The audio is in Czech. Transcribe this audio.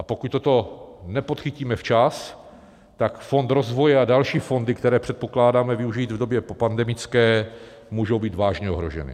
A pokud toto nepodchytíme včas, tak Fond rozvoje a další fondy, které předpokládáme využít v době popandemické, můžou být vážně ohroženy.